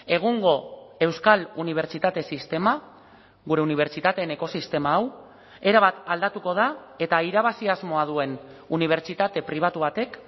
egungo euskal unibertsitate sistema gure unibertsitateen ekosistema hau erabat aldatuko da eta irabazi asmoa duen unibertsitate pribatu batek